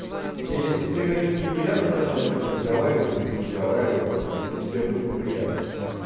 не если тебе конечно неприятно со мной о чём-то разговаривать лучше не разговаривай тогда если тебе вдруг неприятно